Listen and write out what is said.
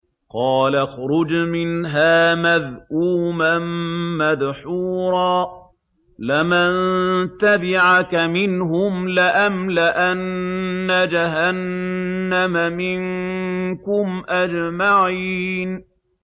قَالَ اخْرُجْ مِنْهَا مَذْءُومًا مَّدْحُورًا ۖ لَّمَن تَبِعَكَ مِنْهُمْ لَأَمْلَأَنَّ جَهَنَّمَ مِنكُمْ أَجْمَعِينَ